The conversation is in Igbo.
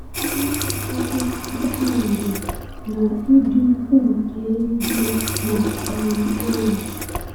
Ọnụ ọgụgụ kpakpando na ịdị ukwuu nke eluigwe na-akpali egwu.